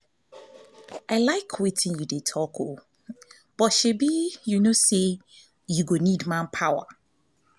i iike wetin you dey talk but shebi you no say you go need manpower